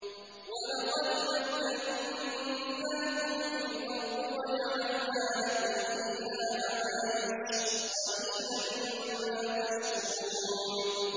وَلَقَدْ مَكَّنَّاكُمْ فِي الْأَرْضِ وَجَعَلْنَا لَكُمْ فِيهَا مَعَايِشَ ۗ قَلِيلًا مَّا تَشْكُرُونَ